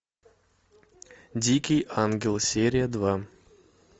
дикий ангел серия два